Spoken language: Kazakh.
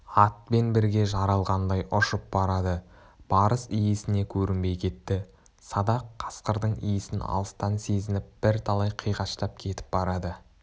атпен бірге жаралғандай ұшып барады барыс иесіне көрінбей кетті садақ қасқырдың исін алыстан сезініп бірталай қиғаштап кетіп барады